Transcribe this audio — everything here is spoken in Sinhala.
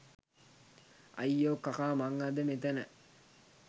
අයියෝ කකා මං අද මෙතැන